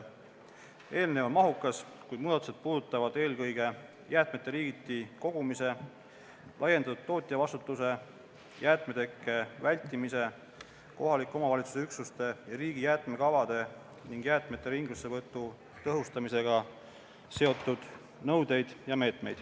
Eelnõu on mahukas, kuid muudatused puudutavad eelkõige jäätmete liigiti kogumise, laiendatud tootjavastutuse, jäätmetekke vältimise, kohaliku omavalitsuse üksuste ja riigi jäätmekavade ning jäätmete ringlussevõtu tõhustamisega seotud nõudeid ja meetmeid.